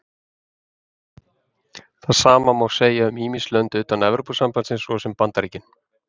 Það sama má segja um ýmis lönd utan Evrópusambandsins, svo sem Bandaríkin.